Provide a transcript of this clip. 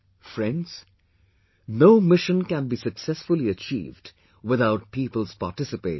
Friends, no mission can be successfully achieved without people's participation